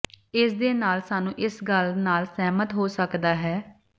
ਇਸ ਦੇ ਨਾਲ ਸਾਨੂੰ ਇਸ ਗੱਲ ਨਾਲ ਸਹਿਮਤ ਹੋ ਸਕਦਾ ਹੈ